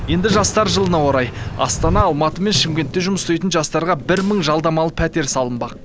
енді жастар жылына орай астана алматы мен шымкентте жұмыс істейтін жастарға бір мың жалдамалы пәтер салынбақ